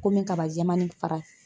Komi kaba jɛman nin fara